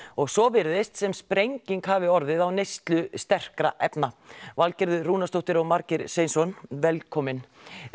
og svo virðist sem sprenging hafi orðið á neyslu sterkra efna Valgerður Rúnarsdóttir og Margeir Sveinsson velkomin